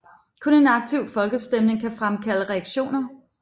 Kun en aktiv folkestemning kan fremkalde reaktioner